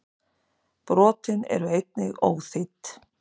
Brotin eru einnig óþýdd.